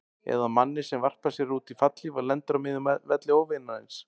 Eða manni sem varpar sér út í fallhlíf og lendir á miðjum velli óvinarins.